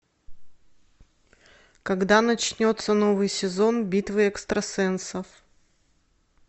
когда начнется новый сезон битвы экстрасенсов